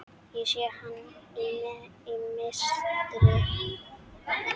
Ég sé hana í mistri.